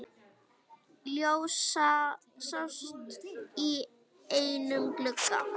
Ljós sást í einum glugga.